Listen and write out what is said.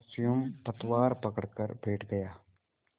और स्वयं पतवार पकड़कर बैठ गया